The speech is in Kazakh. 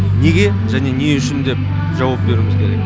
неге және не үшін деп жауап беруіміз керек